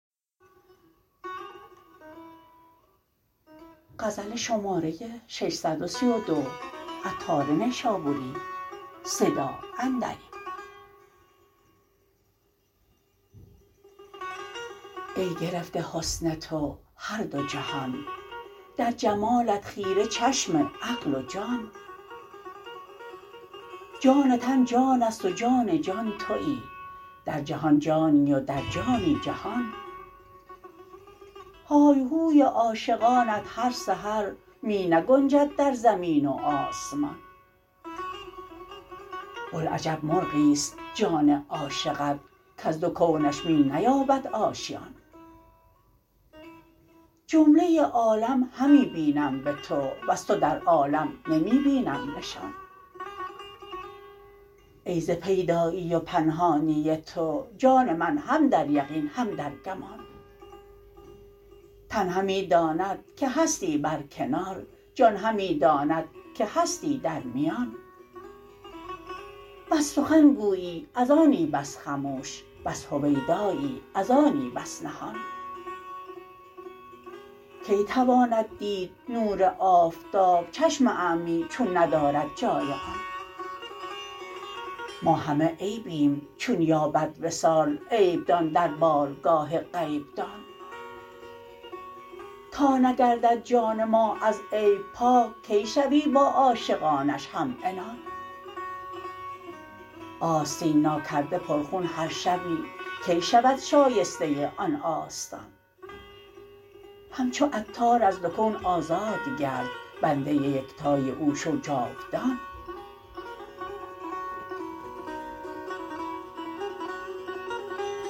ای گرفته حسن تو هر دو جهان در جمالت خیره چشم عقل و جان جان تن جان است و جان جان تویی در جهان جانی و در جانی جهان های و هوی عاشقانت هر سحر می نگنجد در زمین و آسمان بوالعجب مرغی است جان عاشقت کز دو کونش می نیابد آشیان جمله عالم همی بینم به تو وز تو در عالم نمی بینم نشان ای ز پیدایی و پنهانی تو جان من هم در یقین هم در گمان تن همی داند که هستی بر کنار جان همی داند که هستی در میان بس سخن گویی از آنی بس خموش بس هویدایی از آنی بس نهان کی تواند دید نور آفتاب چشم اعمی چون ندارد جای آن ما همه عیبیم چون یابد وصال عیب دان در بارگاه غیب دان تا نگردد جان ما از عیب پاک کی شوی با عاشقانش هم عنان آستین نا کرده پر خون هر شبی کی شود شایسته آن آستان همچو عطار از دو کون آزاد گرد بنده یکتای او شو جاودان